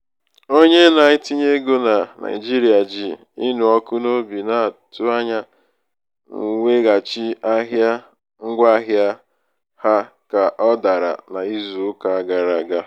onye na-etinye ego na naijiria ji ịnụ ọkụ n'obi um na-atụ anya mweghachi ahịa ngwaahịa ahịa ka ọ dara um n'izu uka gara aga.